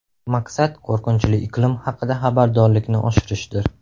Maqsad qo‘rqinchli iqlim haqida xabardorlikni oshirishdir.